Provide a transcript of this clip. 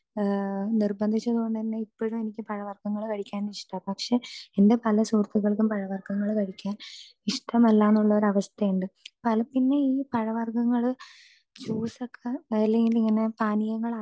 speaker 2 നിര്ബന്ധിച്ചതുകൊണ്ടുതന്നെ ഇപ്പോഴും എനിക്ക് പഴവര്ഗങ്ങള് കഴിക്കാൻ ഇഷ്ടാ പക്ഷേ എന്റെ പല സുഹൃത്തുക്കൾക്കും പഴവർഗങ്ങൾ കഴിക്കാൻ ഇഷ്ടമല്ല എന്നൊരു അവസ്ഥയുണ്ട് പിന്നെ ഈ പഴവര്ഗങ്ങള് ജ്യൂസ് ഒക്കെ ഇലയിൽ ഇങ്ങനെ